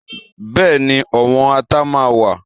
Bẹ́ẹ̀ni, ọ̀wọ́n Ata máa wà